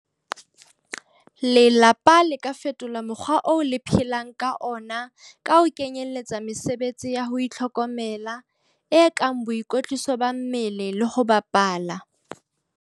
Lelapa le ka fetola mokgwa oo le phelang ka ona ka ho kenyeletsa mesebetsi ya ho itlhokomela, e kang boikwetliso ba mmele le ho bapala.